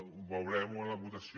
ho veurem en la votació